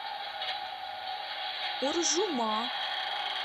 уржума